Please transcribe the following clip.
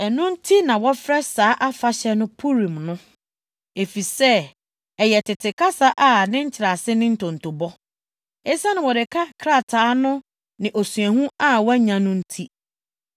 (Ɛno nti na wɔfrɛ saa afahyɛ no Purim no, efisɛ ɛyɛ tete kasa a ne nkyerɛase ne ntontobɔ.) Esiane Mordekai krataa no ne osuahu a wɔanya no nti,